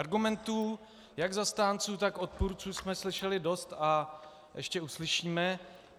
Argumentů jak zastánců, tak odpůrců jsme slyšeli dost a ještě uslyšíme.